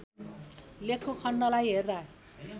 लेखको खण्डलाई अर्को